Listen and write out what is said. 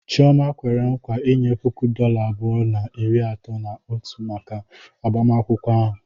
Chioma kwere nkwa inye puku dọla abụọ na iri atọ na otu maka agbamakwụkwọ ahụ.